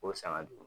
O sanga dugu